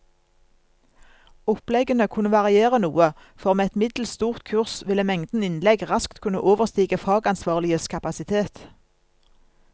Oppleggene kunne variere noe, for med et middels stort kurs ville mengden innlegg raskt kunne overstige fagansvarliges kapasitet.